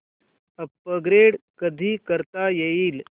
upgrade कधी करता येईल